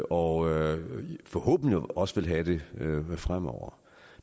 og forhåbentlig også vil have det fremover